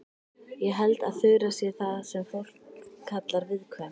Ég held að Þura sé það sem fólk kallar viðkvæm.